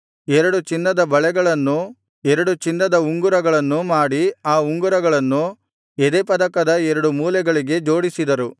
ಎರಡು ಚಿನ್ನದ ಬಳೆಗಳನ್ನೂ ಎರಡು ಚಿನ್ನದ ಉಂಗುರಗಳನ್ನೂ ಮಾಡಿ ಆ ಉಂಗುರಗಳನ್ನು ಎದೆಪದಕದ ಎರಡು ಮೂಲೆಗಳಿಗೆ ಜೋಡಿಸಿದರು